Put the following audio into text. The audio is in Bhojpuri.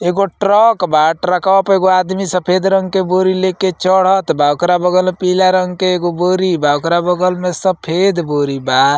एगो ट्रक बा। ट्रकवा पे एगो आदमी सफ़ेद रंग के बोरी लेके चढ़त बा। ओकरा बगल में पीला रंग के एगो बोरी बा। ओकरा बगल में सफ़ेद बोरी बा।